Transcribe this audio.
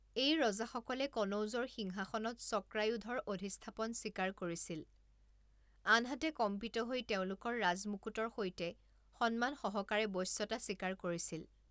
এই ৰজাসকলে কনৌজৰ সিংহাসনত চক্ৰায়ুধৰ অধিষ্ঠাপন স্বীকাৰ কৰিছিল, আনহাতে কম্পিত হৈ তেওঁলোকৰ ৰাজমুকুটৰ সৈতে সন্মানসহকাৰে বশ্যতা স্বীকাৰ কৰিছিল।